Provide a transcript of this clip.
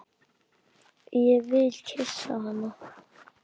Ég vil kyssa hana.